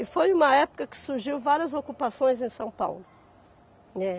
E foi uma época que surgiu várias ocupações em São Paulo.